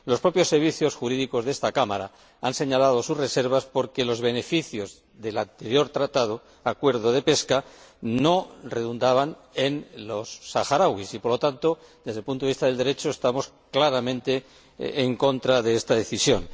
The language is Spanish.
Los propios servicios jurídicos de esta Cámara han señalado sus reservas porque los beneficios del anterior Acuerdo de pesca no redundaban en los saharauis y, por lo tanto, desde el punto de vista del Derecho, estamos claramente en contra de esta decisión.